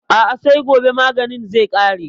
A'a sai gobe maganin zai ƙare.